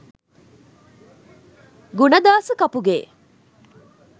gunadasa kapuge